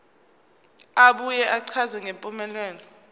abuye achaze ngempumelelo